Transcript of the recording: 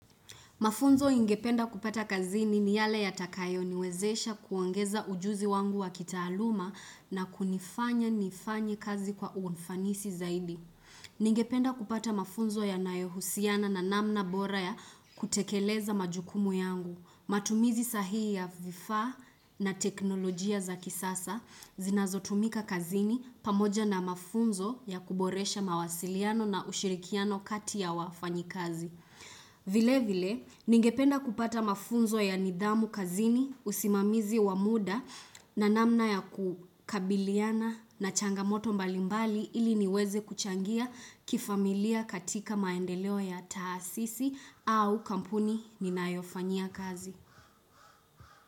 Mafunzo ingependa kupata kazini ni yale yatakayo niwezesha kuongeza ujuzi wangu wa kitaaluma na kunifanya nifanye kazi kwa ufanisi zaidi. Ningependa kupata mafunzo yanayo husiana na namna bora ya kutekeleza majukumu yangu. Matumizi sahii ya vifaa na teknolojia za kisasa zinazotumika kazini pamoja na mafunzo ya kuboresha mawasiliano na ushirikiano kati ya wafanyi kazi. Vile vile, ningependa kupata mafunzo ya nidhamu kazini usimamizi wamuda na namna ya kukabiliana na changamoto mbalimbali ili niweze kuchangia kifamilia katika maendeleo ya taasisi au kampuni ninayofanyia kazi.